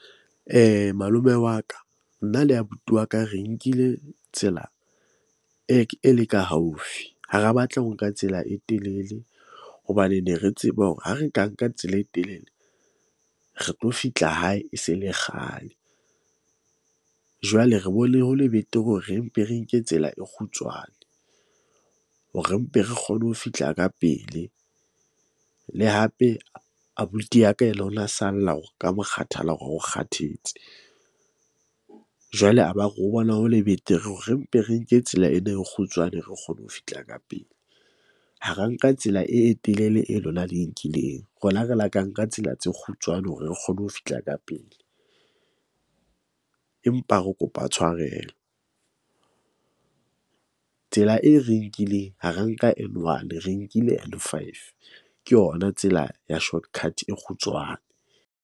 Malome wa ka, nna le abuti wa ka re nkile tsela e, e le ka haufi. Ha ra batla ho nka tsela e telele hobane ne re tseba hore ha re ka nka tsela e telele, re tlo fihla hae, e se le kgale. Jwale re bone ho le betere hore re mpe re nke tsela e kgutshwane hore mpe re kgone ho fihla ka pele. Le hape abuti ya ka ya salla hore ka mokgathala hore ha o kgathetse. Jwale, a ba re o bona ho le betere hore re mpe re nke tsela ena e kgutshwane, re kgone ho fihla ka pele. Ha ra nka tsela e telele e lona le e nkileng. Rona re la ka nka tsela tse kgutshwane hore re kgone ho fihla ka pele, empa re kopa tshwarelo . Tsela e re nkileng ha ra nka N1 re nkile N5. Ke yona tsela ya shortcut e kgutshwane.